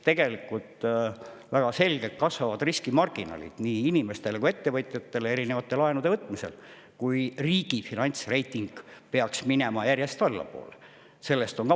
Tegelikult väga selgelt kasvavad riskimarginaalid nii inimestele kui ka ettevõtjatele erinevate laenude võtmisel, kui riigi finantsreiting peaks järjest allapoole minema.